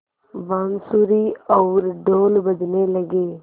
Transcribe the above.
बाँसुरी और ढ़ोल बजने लगे